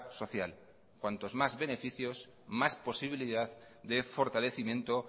social cuantos más beneficios más posibilidad de fortalecimiento